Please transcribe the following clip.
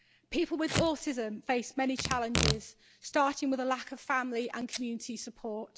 People with autism face many challenges, starting with a lack of family and community support.